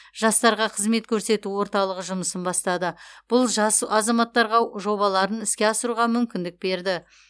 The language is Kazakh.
жастарға қызмет көрсету орталығы жұмысын бастады бұл жас азаматтарға жобаларын іске асыруға мүмкіндік берді